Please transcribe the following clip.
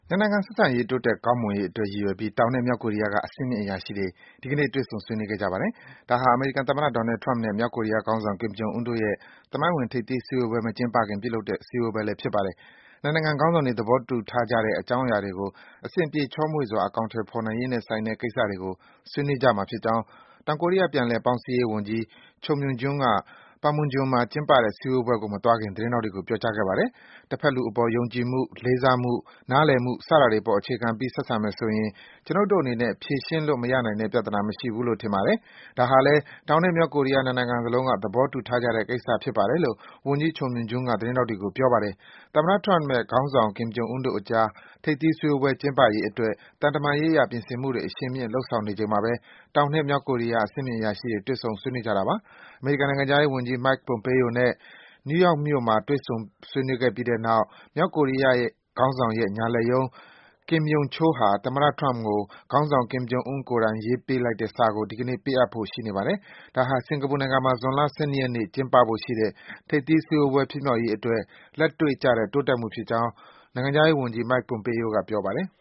နိုင်ငံ ဆက်ဆံရေး တိုးတက်ကောင်းမွန်ရေးအတွက် ရည်ရွယ်ပြီး တောင်နဲ့ မြောက်ကိုရီးယားက အဆင့်မြင့် အရာရှိတွေ ဒီကနေ့ တွေ့ဆုံ ဆွေးနွေးခဲ့ကြပါတယ်။ ဒါဟာ အမေရိကန်သမ္မတ Donald Trump နဲ့ မြောက် ကိုရီးယားခေါင်းဆောင် Kim Jong Un တို့ရဲ့ သမိုင်းဝင် ထိပ်သီး စည်းဝေးပွဲ မကျင်းပခင်မှာ ပြုလုပ်တဲ့ စည်းဝေး ပွဲလည်း ဖြစ်ပါတယ်။ နှစ်ဘက် ခေါင်းဆောင်တွေ သဘောတူထားကြတဲ့ အကြောင်းအရာတွေကို အဆင်ပြေ ချောမွေ့စွာ အကောင်အထည် ဖော်နိုင်ရေးနဲ့ဆိုင်တဲ့ ကိစ္စတွေကို ဆွေးနွေးကြမှာဖြစ်ကြောင်း တောင်ကိုရီးယား ပြန်လည် ပေါင်းစည်းရေးဝန်ကြီး Cho Myoung-gyon က Panmunjom မှာ ကျင်းပတဲ့ စည်းဝေးပွဲကို မသွားခင် သတင်းထောက်တွေကို ပြောကြားခဲ့ပါတယ်။ “တဖက်လူအပေါ် ယုံကြည်မှု၊ လေးစားမှု၊ နားလည်မှု စတာတွေအပေါ် အခြေခံပြီး ဆက်ဆံမယ်ဆိုရင် ကျွနု်ပ်တို့အနေနဲ့ ဖြေရှင်းလို့ မရနိုင်တဲ့ပြဿနာ မရှိဘူးလို့ ထင်ပါတယ်၊ ဒါဟာလည်း တောင်နဲ့ မြောက်ကိုရီးယား ၂ နိုင်ငံစလုံးက သဘောတူထားကြတဲ့ ကိစ္စဖြစ်ပါတယ်” လို့ ဝန်ကြီး Cho Myong-gyon က သတင်းထောက်တွေကို ပြောပါတယ်။ သမ္မတ Trump နဲ့ ခေါင်းဆောင် Kim Jong Un တို့အကြား ထိပ်သီးစည်းဝေးပွဲ ကျင်းပရေးအတွက် သံတမန်ရေးအရ ပြင်ဆင်မှုတွေ အရှိန်မြင့် လုပ်ဆောင်နေချိန်မှာဘဲ တောင်နဲ့ မြောက်ကိုရီးယား အဆင့်မြင့် အရာရှိတွေ တွေ့ဆုံ ဆွေးနွေးကြတာပါ။ အမေရိကန်နိုင်ငံခြားရေးဝန်ကြီး Mike Pompeo နဲ့ နယူးယောက်မြို့မှာ တွေ့ဆုံ ဆွေးနွေးပြီးတဲ့နောက် မြောက်ကိုရီးယားခေါင်းဆောင်ရဲ့ ညာလက်ရုံး Kim Yong Chol ဟာ သမ္မတ Trump ကို ခေါင်းဆောင် Kim Jong Un ကိုယ်တိုင် ရေးပေးလိုက်တဲ့စာကို ဒီကနေ့ ပေးအပ်ဖို့ ရှိနေပါတယ်။ ဒါဟာ စင်ကာပူနိုင်ငံမှာ ဇွန်လ ၁၂ ရက်နေ့ ကျင်းပဖို့ရှိတဲ့ ထိပ်သီးစည်းဝေးပွဲ ဖြစ်မြောက်ရေးအတွက် လက်တွေ့ကျတဲ့ တိုးတက်မှုဖြစ်ကြောင်း နိုင်ငံခြားရေးဝန်ကြီး Mike Pompeo က ပြောပါတယ်။